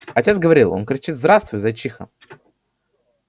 отец говорил он кричит здравствуй зайчиха